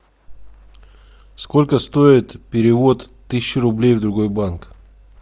сколько стоит перевод тысячи рублей в другой банк